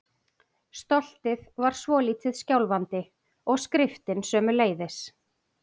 Stoltið var svolítið skjálfandi- og skriftin sömuleiðis.